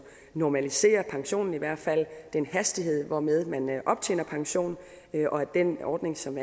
normalisere pensionen i hvert fald den hastighed hvormed man optjener pension og at den ordning som